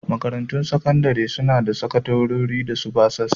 Makarantun sakandare suna da sakatarori da su basas